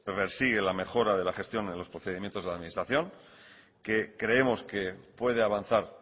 persigue la mejora de la gestión en los procedimientos de la administración que creemos que puede avanzar